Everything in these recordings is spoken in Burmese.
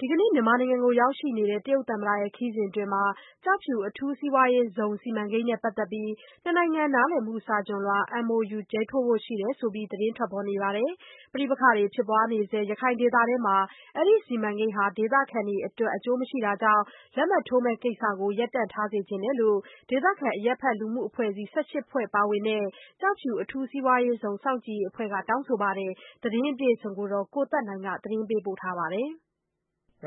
ဒီကနေ့ မြန်မာနိုင်ငံကို ရောက်ရှိနေတဲ့ တရုတ်သမ္မတ ခရီးစဉ်မှာ ကျောက်ဖြူ အထူးစီးပွါးရေးဇုံ စီမံကိန်းနဲ့ ပတ်သတ်ပြီး နှစ်နိုင်ငံ နားလည်မှု စာချွန်လွှာ MoU ရေးထိုးဖို့ ရှိတယ်ဆိုပြီး သတင်းထွက်ပေါ်နေတာပါ။ ပဋိပက္ခတွေ ဖြစ်ပွားနေတဲ့ ရခိုင်ဒေသမှာ အဲဒီစီမံကိန်းဟာ ဒေသခံတွေ အတွက် အကျိုးမရှိတာကြောင့် လက်မှတ်ထိုးမယ့် ကိစ္စကို ရပ်တန့်ထားစေချင်တယ်လို့ ဒေသခံ အရပ်ဖက် လူမှုအဖွဲ့အစည်း ၁၈ ဖွဲ့ ပါဝင်တဲ့ ကျောက်ဖြူအထူးစီးပွားရေးဇုန် စောင့်ကြည့်ရေးအဖွဲ့က တောင်းဆိုထားပါတယ်။ သတင်းအပြည့်အစုံကိုတော့ ဗွီအိုအေ သတင်းထောက် ကိုသက်နိုင်က မေးမြန်းထားပါတယ်။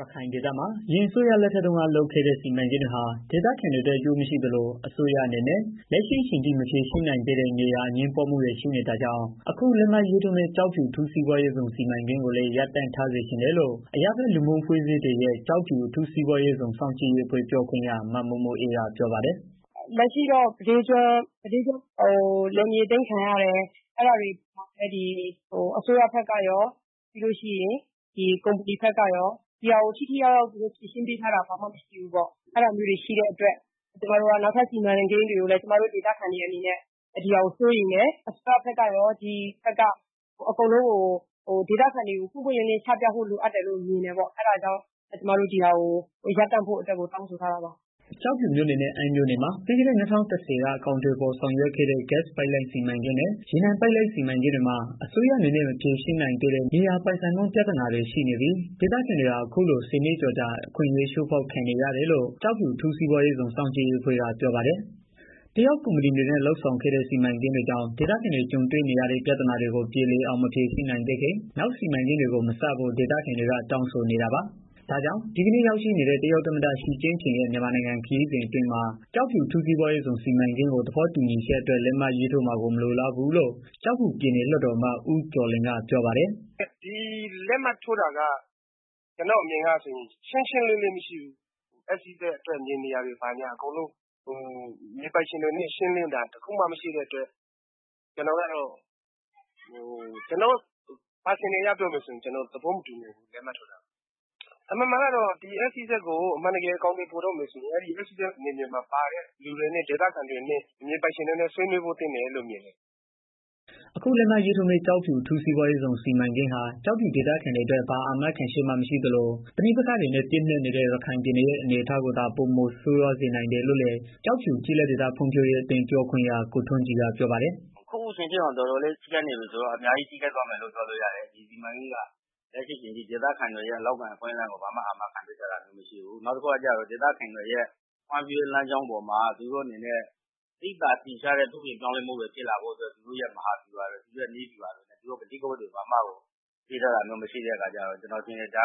ရခိုင်ဒေသမှာ အရင်အစိုးရလက်ထက်တုန်းက လုပ်ခဲ့တဲ့ စီမံကိန်းတွေဟာ ဒေသခံတွေအတွက် အကျိုးမရှိသလို အစိုးရအနေနဲ့ လက်ရှိအချိန်ထိ မဖြေရှင်းနိုင်သေးတဲ့ မြေယာအငြင်းပွားမှုတွေ ရှိနေတာကြောင့် အခုလက်မှတ် ရေးထိုးမယ့် ကျောက်ဖြူအထူးစီးပွားရေးဇုန် စီမံကိန်းကိုလည်း ရပ်တန့်ထားစေချင်တယ်လို့ အရပ်ဘက် လူမှုလူ့အဖွဲ့အစည်းတွေရဲ့ ကျောက်ဖြူ အထူးစီးပွားရေးဇုန် စောင့်ကြည့်ရေးအဖွဲ့ ပြောခွင့်ရ မ မို့မိုအေးက ပြောပါတယ်။ “လက်ရှိမှာတော့ မြဒေးကျွန်းမှာလယ်မြေအသိမ်းခံရတယ်။ အဲတာကို အစိုးရဘက်ကရော ကုပ္မဏီဘက်ကပါ ထိထိရောက်ရောက် ဖြေရှင်းပေးထားတာမရှိသေးဘူး။ အဲတာကြောင့် နောက်ထပ် စီမံကိန်းတွေမှာလည်း ဒီဟာတွေကို စိုးရိမ်တယ်။ လုပ်မယ်ဆိုရင် အစိုးရဘက်ကရော ကုပ္မဏီဘက်ကပါ စီမံကိန်းကို ပွင့်ပွင့်လင်းလင်း ချပြဖို့ လိုအပ်တယ်။ အဲတောကြောင့် အခုလက်မှတ်ထိုးမယ့် ကိစ္စကို ရပ်တန့်ဖို့ တောင်းဆိုထားတာပါ။” ကျောက်ဖြူမြို့နယ်နဲ့ အမ်းမြို့နယ်တွေမှာ ပြီးခဲ့တဲ့ ၂၀၁၀ ကအကောင်အထည်ဖော်ဆောင်ရွက်ခဲ့တဲ့ ဂစ် ပိုက်လိုင်းစီမံကိန်းနဲ့ ရေနံပိုက်လိုင်းစီမံကိန်းတွေမှ အစိုးရအနေနဲ့ မဖြေရှင်းနိုင်သေးတဲ့ မြေယာပိုင်ဆိုင်မှု ပြသာနာတွေနဲ့ ရှိနေပြီး ဒေသခံတွေဟာ အခုလို ၁၀ နှစ်ကျော်ကြာ အခွင့်အရေး ချိုးဖောက်ခံနေရတယ်လို့ ကျောက်ဖြူ အထူးစီးပွားရေးဇုန် စောင့်ကြည့်ရေးအဖွဲ့က ပြောပါတယ်။ တရုတ် ကုမ္ပဏီတွေနဲ့ လုပ်ဆောင်ခဲ့တဲ့ စီမံကိန်းကြီးတွေကြောင့် ဒေသခံတွေ ကြုံနေရတဲ့ ပြဿနာတွေကို ပြေလည် အောင် ဖြေရှင်း မပေး နိုင်သေးခင် နောက် စီမံကိန်းတွေကို မစဖို့ ဒေသခံတွေက တောင်းဆိုနေတာပါ။ ဒါကြောင့် ဒီကနေ့ ရောက်ရှိနေတဲ့ တရုတ်သမ္မတ ချီကျင့်ဖျင်ရဲ့ မြန်မာနိုင်ငံခရီစဉ်အတွင်း ကျောက်ဖြူ အထူးစီးပွားရေးဇုံ စီမံကိန်း သဘောတူညီချက် အတွက် လက်မှတ်ရေးမှာကို မလိုလားဘူးလို့ ကျောက်ဖြုူ ပြည်နယ် လွတ်တော်အမတ် ဦးကျော်လွင် ကပြော ပါတယ်။ “ဒီလက်မှတ်ထိုးတာက ကျနော့်အမြင်ကို ပြောရရင် ရှင်းရှင်းလင်းလင်းမရှိဘူး။ SEZ အတွက် မြေနေရာ တွေကို မြေပိုင်းရှင်တွေနဲ့ ရှင်းလင်းတာ တစ်ခုမှမရှိတဲ့အတွက် ကျနော့် တစ်ဦးတည် ပြောရမယ် ဆိုရင် ကျနော်သဘော မတူနိုင်ဘူး။ လက်မှတ်ထိုးတာကို။ အမှန်တကယ်တော့ SEZကို အမှန်တကယ် အကောင်အထည် ဖော်တော့မယ် ဆိုရင် အထူးစီးပွားရေးဇုန် စီမံကိန်းမှာ ပါတဲ့ သူတွေနဲ့ တွေ့ဆုံဆွေးနွေးဖို့လိုတယ်လို့ မြင်တယ်။” အခုလက်မှတ်ရေးထိုးမယ့် ကျော်ဖြူ အထူးစီးပွားရေးဇုံ စီးမံကိန်းဟာ ကျောက်ဖြူဒေသခံတွေအတွက် ဘာအာမခံချက်မှ မရှိသလို ပဋိပက္ခတွေနဲ့ ပြည့်နက်နေနဲ့ ရခိုင်ပြည်နယ်ရဲ့ အခြေအနေကိုသား ပိုမိုဆိုးရွားစေနိုင်တယ်လို့လည်း ကျောက်ဖြူကျေးလက်ဒေသ ဖွံံ့ဖြိုးအသင်း ပြောခွင့်ရာ ကိုထွန်းကြည် ကပြောပါတယ်။ “အခုတောင် အဲလောက်ပျက်စီးနေတာ အခုလာမယ့် စီမံကိန်းကလည်း ဒေသခံတွေအတွက် အလုပ်အကိုင်အခွင့်အလမ်း ဘာမှ အာမခံပေးထားတာမရှိဘူး။ နောက်ပြီးတော့ ဒေသခံတွေအတွက် သိသာထင်ရှားတဲ့ ပြောင်းလဲ မှုတွေ ဖြစ်လာဖို့အတွက် သူတို့နည်းဗျုဟာ မဟာ ဗျူဟာတွေကို ချပြထားတာမရှိတော့ ကျနော်ထင်တယ် ဒါ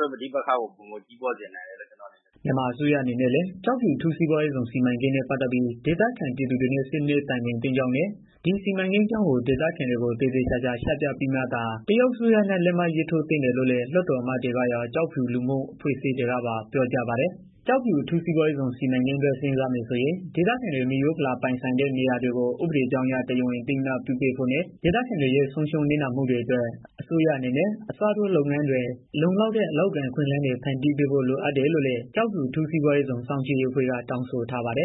က ပဋိပက္ခကို ပိုပြီးတော့ ကြီးထွားစေမယ်လို့ ထင်တယ်။” မြန်မာအစိုးရအနေနဲ့ လည်း ကျောက်ဖြူအထူးစီးပွါးရေးဇုံ စီမံကိန်းနဲ့ ပတ်သတ်ပြီး ဒေသခံပြည်သူတွေနဲ့ ဆွေးနွေးတိုင်ပင်သင့် ကြောင်းနဲ့ ဒီ စီမံကိန်းအကြောင်းကို ဒေသခံတွေကို သေသေချာချာ ချပြပြီးမှသာ တရုတ် အစိုးရနဲ့ လက်မှတ်ထိုးသင့် တယ်လို့လည်း လွတ်တော်အမတ်တွေကရော့ ကျောက်ဖြူလူမှု အဖွဲ့အစည်းတွေက ပါ ပြောကြပါတယ်။ ကျောက်ဖြူ အထူး စီးပွါးရေးဇုံ အတွက် စဉ်းစားမယ် ဆိုရင် ဒေသခံတွေ မိရိုးဖလာ ပိုင်ဆိုင်တဲ့ မြေယာတွေကို ဥပဒေကြောင်းအရ တရားဝင် အသိအမှတ်ပြုပေးဖို့နဲ့ ဒေသခံတွေရဲ့ ဆုံးရှုံးနစ်နာမှုတွေအတွက် အစိုးရအနေနဲ့ အစားထိုးလုပ်ငန်းတွေ လုံလောက်တဲ့ အလုပ်အကိုင်အခွင့် အလမ်းတွေ ဖန်တီးပေးဖို့ လိုအပ်တယ်လို့လည်း ကျောက်ဖြူအထူးစီးပွားရေးဇုန် စောင့်ကြည့်ရေးအဖွဲ့က တောင်းဆိုထားပါတယ်။